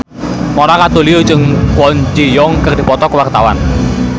Mona Ratuliu jeung Kwon Ji Yong keur dipoto ku wartawan